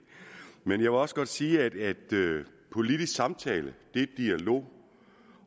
men jeg vil også godt sige at politisk samtale er dialog